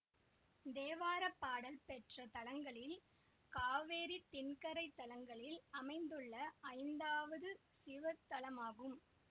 தேவார பாடல் பெற்ற தலங்களில் காவேரி தென்கரை தலங்களில் அமைந்துள்ள ஐந்தாவது சிவத்தலமாகும்